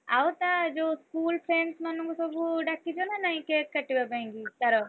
ଆଉ ତା ଯୋଉ school friends ମାନଙ୍କୁ ଡ଼ାକିଚ ନା ନାହିଁ cake କାଟିବା ପାଇଁକି? ତାର,